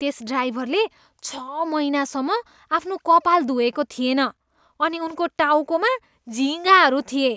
त्यस ड्राइभरले छ महिनासम्म आफ्नो कपाल धुएको थिएन अनि उनको टाउकोमा झिँगाहरू थिए।